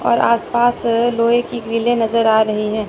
और आस पास अ लोहे की ग्रीले नजर आ रही हैं।